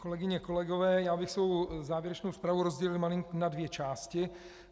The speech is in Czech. Kolegyně, kolegové, já bych svou závěrečnou zprávu rozdělil malinko na dvě části.